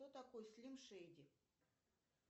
кто такой слим шейди